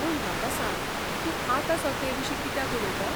पूण म्हाका सांग, तूं आतांसो तेविशीं कित्याक उलयता ?